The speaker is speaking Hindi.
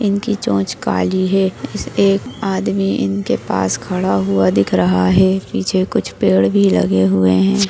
इनकी चोंच काली है इस एक आदमी इनके पास खडा हुआ दिख रहा है पीछे कुछ पेड़ भी लगे हुए है।